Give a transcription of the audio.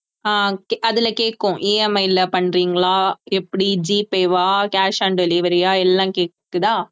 ஆஹ் அதிலே கேக்கும் EMI ல பண்றீங்களா எப்படி gpay ஆ cash on delivery ஆ எல்லாம் கேக்குதா